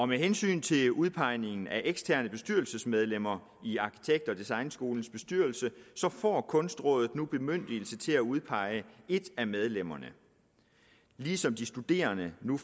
med hensyn til udpegningen af eksterne bestyrelsesmedlemmer i arkitekt og designskolernes bestyrelse får kunstrådet nu bemyndigelse til at udpege et af medlemmerne ligesom de studerende nu